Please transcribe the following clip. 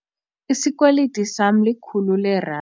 Isikweliti sama likhulu leerandi.